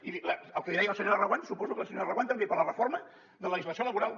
i el que li deia a la senyora reguant suposo que la senyora reguant també per la reforma de la legislació laboral